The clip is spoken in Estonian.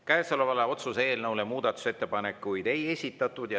Käesoleva otsuse eelnõu kohta muudatusettepanekuid ei esitatud.